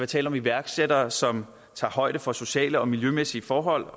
tale om iværksætteri som tager højde for sociale og miljømæssige forhold